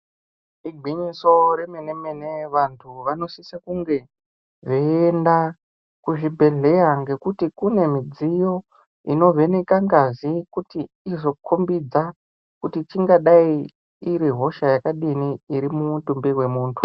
Igwinyiso remene mene vantu vanosise kunge veienda kuzvibhedhleya ngekuti kune midziyo inovheneka ngazi kuti izokombidza kuti chingadai iri hosha yakadini iri mumitumbi wemuntu